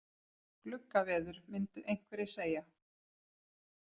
Gluggaveður myndu einhverjir segja.